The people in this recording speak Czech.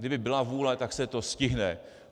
Kdyby byla vůle, tak se to stihne.